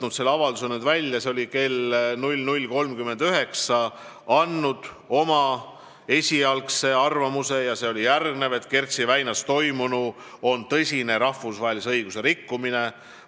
Ma otsisin oma avalduse välja – tegin selle kell 00.39 – ja selle sisu oli järgmine: "Kertši väinas toimunu on tõsine rahvusvahelise õiguse rikkumine.